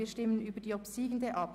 Nun stimmen wir über diese ab.